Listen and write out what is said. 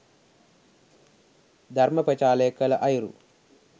ධර්ම ප්‍රචාරය කළ අයුරු